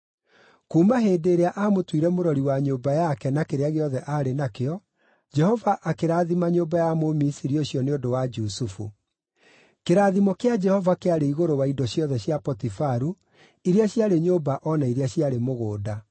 Kuuma hĩndĩ ĩrĩa aamũtuire mũrori wa nyũmba yake na kĩrĩa gĩothe aarĩ nakĩo, Jehova akĩrathima nyũmba ya Mũmisiri ũcio nĩ ũndũ wa Jusufu. Kĩrathimo kĩa Jehova kĩarĩ igũrũ wa indo ciothe cia Potifaru, iria ciarĩ nyũmba o na iria ciarĩ mũgũnda.